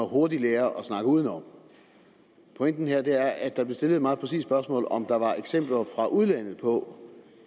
hurtigt lærer at snakke udenom pointen er at der blev stillet et meget præcist spørgsmål om hvorvidt der var eksempler fra udlandet på